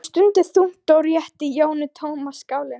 Hún stundi þungt og rétti Jóru tóma skálina.